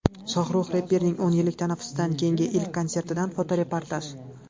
Shohrux reperning o‘n yillik tanaffusdan keyingi ilk konsertidan fotoreportaj.